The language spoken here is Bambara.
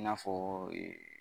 I n'a fɔ